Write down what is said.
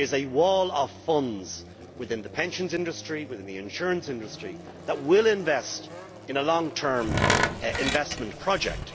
There is a wall of funds within the pensions industry, within the insurance industry, that will invest in a long-term investment project.